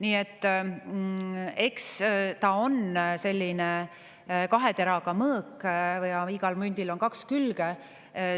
Nii et eks ta on selline kahe teraga mõõk, igal mündil on kaks külge.